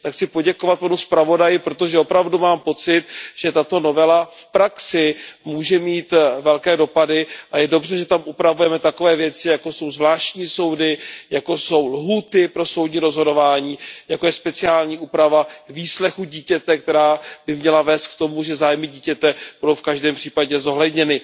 Chci poděkovat panu zpravodaji, protože opravdu mám pocit, že tato novela v praxi může mít velké dopady a je dobře, že tam upravujeme takové věci, jako jsou zvláštní soudy, jako jsou lhůty pro soudní rozhodování, jako je speciální úprava výslechu dítěte, která by měla vést k tomu, že zájmy dítěte budou v každém případě zohledněny.